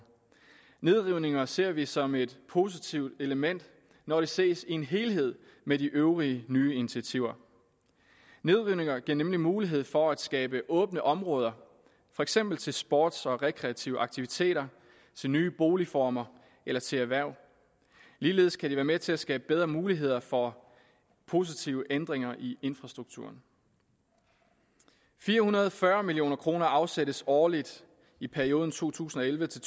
nedrivninger ser vi som et positivt element når de ses i en helhed med de øvrige nye initiativer nedrivninger giver nemlig mulighed for at skabe åbne områder for eksempel til sports og rekreative aktiviteter til nye boligformer eller til erhverv ligeledes kan de være med til at skabe bedre muligheder for positive ændringer i infrastrukturen fire hundrede og fyrre million kroner afsættes årligt i perioden to tusind og elleve til